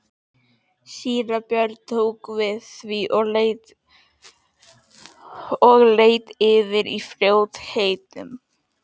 Síra Björn tók við því og leit yfir í fljótheitum.